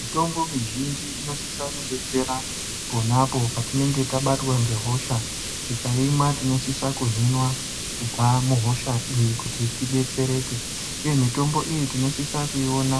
Mitombo mizhinji inosisa kudetsera ponapo petinenge tabatwa ngehosha, tikaimwa tinosiswa kuhinwa kubva muhosha iyi kuti tidetsereke, uye mitombo iyi tinosise kuiona